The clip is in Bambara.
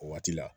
O waati la